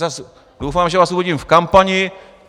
Zas doufám, že vás uvidím v kampani.